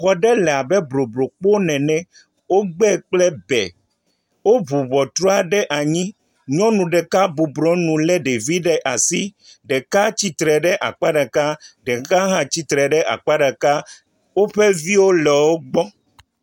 Xɔ aɖe le abe bloblokpome ene. Wogbãe kple bɛ, woŋu ŋɔtrɔ ɖe anyi. Nyɔnu ɖeka bɔbɔ ɖe nu lé ɖevi ɖe asi. Ɖeka tsitre ɖe akpa ɖeka, ɖeka hã tsitre ɖe akpa ɖeka. Woƒe viwo le wo gbɔ.